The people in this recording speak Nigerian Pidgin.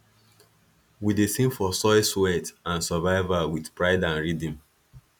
we dey sing for soil sweat and survival wit pride and rhythm